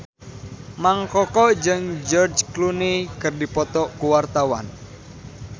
Mang Koko jeung George Clooney keur dipoto ku wartawan